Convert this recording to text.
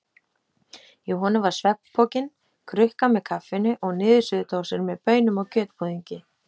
Í honum var svefnpokinn, krukka með kaffinu og niðursuðudósir með baunum og kjötbúðingi.